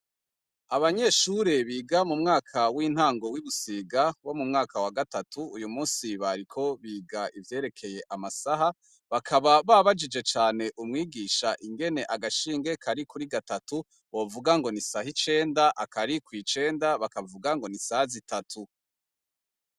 Abanyeshure biga mu mwaka w'intango w'ibusiga, bo mu mwaka wa gatatu ,uyu munsi bariko biga ivyerekeye amasaha, bakaba babajije cane umwigisha ingene agashinge kari kuri gatatu, bovuga ngo nisaha icenda akari kw'icenda bakavuga ngo nisaha zitatu.